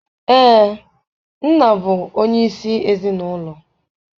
Ee, nna bụ onyeisi ezinụlọ.